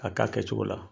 A k'a kɛcogo la